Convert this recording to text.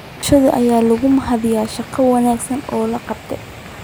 Bulshada ayaa lagu mahadiyay shaqada wanaagsan ee la qabtay.